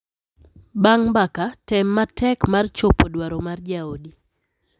Bang’ mbaka, tem matek mar chopo dwaro mar jaodi.